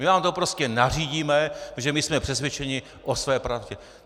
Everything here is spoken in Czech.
My vám to prostě nařídíme, protože my jsme přesvědčeni o své pravdě.